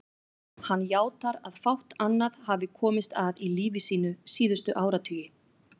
Hann játar að fátt annað hafi komist að í lífi sínu síðustu áratugi.